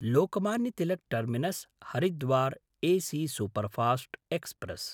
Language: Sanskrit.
Lokmanya Tilak टर्मिनस्–हरिद्वार् AC superfast express